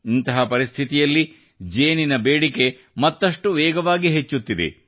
ಇಂತಹ ಪರಿಸ್ಥಿತಿಯಲ್ಲಿ ಜೇನುತುಪ್ಪದ ಬೇಡಿಕೆ ಮತ್ತಷ್ಟು ವೇಗವಾಗಿ ಹೆಚ್ಚುತ್ತಿದೆ